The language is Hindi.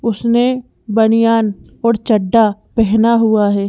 उसने बनियान और चड्डा पहना हुआ है।